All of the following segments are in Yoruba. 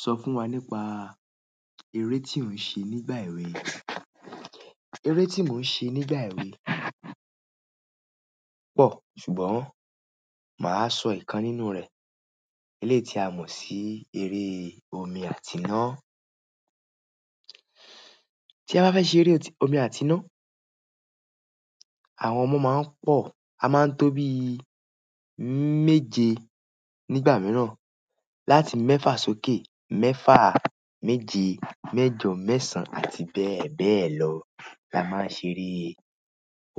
Sọ fún wa nípa eré tí ò ń ṣe nígbà èwe. Eré tí mò ń ṣe nígbà èwe pọ̀, ṣùgbọ́n mà á sọ ìkan nínú rẹ̀. Eléti a mọ̀ sí eré omi àti iná. Tí a bá fẹ́ ṣe eré omi àti iná, àwọn ọmọ máa ń pọ̀. A máa ń tó bí méje nígbà mìíràn, láti mẹ́fà sókè. Mẹ́fà, méje, mẹ́jọ, mẹ́sàn án, àti bẹ́ẹ̀ bẹ́ẹ̀ lọ la máa ń ṣe eré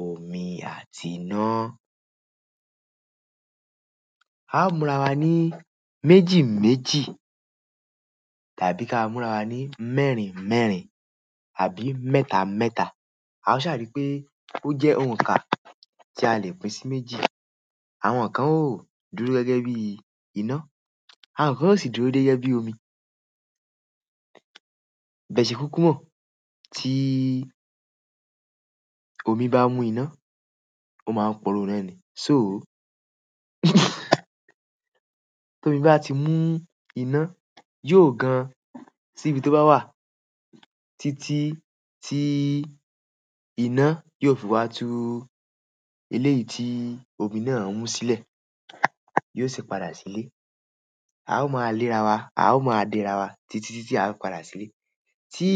omi àti iná. A ó múra wa ní méjì méjì tàbí ká múra wa ní mẹ́rin mẹ́rin àbí mẹ́ta mẹ́ta. A sa ri pe oje ounka ti alẹ́ pín si méjì. Àwọn kan ó dúró gẹ́gẹ́ bí iná, àwọn kan ó sì dúró gẹ́gẹ́ bí omi. Bẹ̀ṣẹ̀ kúkú mọ̀, tí omi bá mú iná, ó máa ń poró ina ni. Tómí bá ti mú iná, yóò gan sí ibi tó bá wà títí tí iná yóò fi wá tu eléyìí tí omi náà ń mú sílẹ̀. Yóò sì padà sílé. Ao ma le ara wa titi titi a fi padà sile tí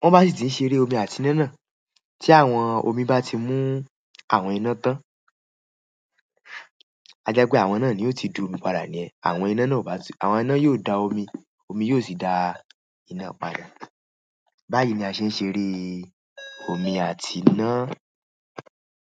wón bá sì ti ń ṣe eré omi àti iná náà, tí àwọn omi bá ti mú àwọn iná tán, a jẹ́ pé àwọn náà ni ó ti domi padà ni yẹ́n. Àwọn iná náà ó bá ti-- àwọn iná yóò da omi, omi yóò sì da iná padà. Báyìí ni a ṣe ń ṣe eré omi àti iná.